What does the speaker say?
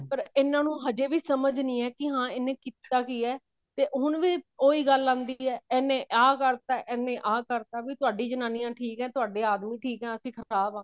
ਪਰ ਇਹਨਾ ਨੂੰ ਹਜੇ ਵੀ ਸਮਝ ਨੀ ਆਈ ਕੀ ਹਾਂ ਇਹਨੇ ਕੀਤਾ ਕੀ ਹੈ ਤੇ ਹੁਣ ਵੀ ਉਹੀ ਗੱਲ ਆਉਂਦੀ ਹੈ ਇਹਨੇ ਆਹ ਕਰਤਾ ਇਹਨੇ ਆਹ ਕਰਤਾ ਵੀ ਸਾਡੀ ਜਨਾਨੀ ਠੀਕ ਹੈ ਤੁਹਾਡੇ ਆਦਮੀ ਠੀਕ ਹੈ ਅਸੀਂ ਖਰਾਬ ਹਾਂ